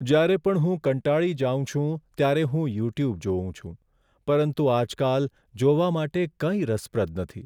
જ્યારે પણ હું કંટાળી જાઉં છું, ત્યારે હું યુટ્યુબ જોઉં છું. પરંતુ આજકાલ જોવા માટે કંઈ રસપ્રદ નથી.